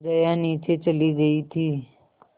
जया नीचे चली गई थी